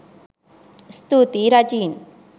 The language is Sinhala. ස්තුතියි රජීන්